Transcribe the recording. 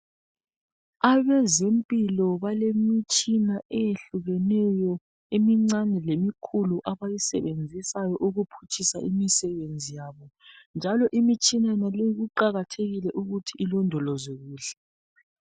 Abezempilo balemitshina eyehlukeneyo emincane lemikhulu abayisebenzisayo ukuphutshisa imisebenzi yabo njalo imitshina naleyi kuqakathekile ukuthi ilondolozwe kuhle.